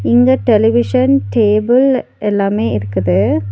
இங்க television table எல்லாமே இருக்குது.